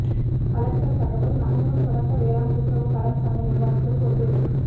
collector தகவல் நமங்குணம் தொடக்க வேளாண் கூட்டுறவு கடன் சங்க நிர்வாகிகள் பொறுப்பேற்பு